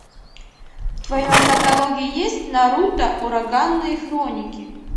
в твоем каталоге есть наруто ураганные хроники